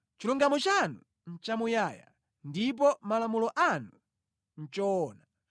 Chilungamo chanu nʼchamuyaya, ndipo malamulo anu nʼchoona.